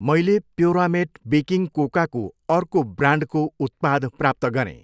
मैले प्योरामेट बेकिङ कोकाको अर्को ब्रान्डको उत्पाद प्राप्त गरेँ।